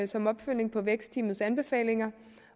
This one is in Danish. som opfølgning på vækstteamets anbefalinger